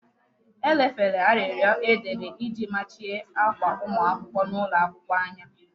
E lefere arịrịọ e dere iji machie akwa ụmụ akwụkwọ n'ụlọ akwụkwọ anya